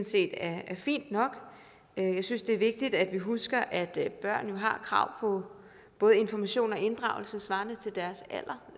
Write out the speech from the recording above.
set er fint nok jeg synes det er vigtigt at vi husker at børn har krav på både information og inddragelse svarende til deres alder